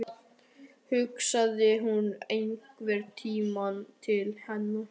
Hugsaði hún einhvern tímann til hans?